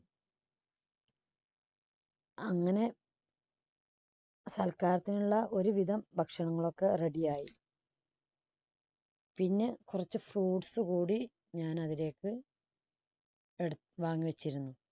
അങ്ങനെ സൽക്കാരത്തിനുള്ള ഒരുവിധം ഭക്ഷണങ്ങളൊക്കെ ready യായി പിന്നെ കുറച്ച് fruits കൂടി ഞാൻ അവിടേക്ക് എട്~വാങ്ങി വെച്ചിരുന്നു.